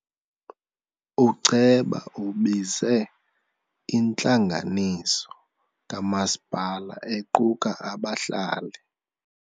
Uceba ubize intlanganiso kamasipala equka abahlali.